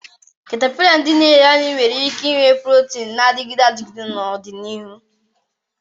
Caterpillars, ndị na-eri anụ, nwere ike inye protein na-adịgide adịgide n'ọdịnihu.